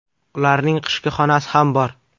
Ularning qishki xonasi ham bor.